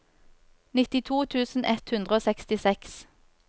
nittito tusen ett hundre og sekstiseks